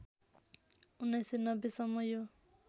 १९९० सम्म यो